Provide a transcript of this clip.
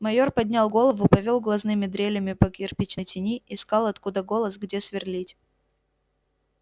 майор поднял голову повёл глазными дрелями по кирпичной тени искал откуда голос где сверлить